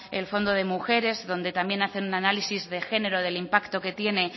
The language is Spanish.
el fondo de mujeres donde también hacen un análisis de género del impacto que tiene